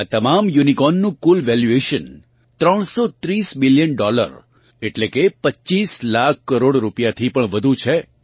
આ તમામ યુનિકોર્નનું કુલ વેલ્યુએશન 330 બિલીયન ડોલર એટલે કે 25 લાખ કરોડ રૂપિયાથી પણ વધુ છે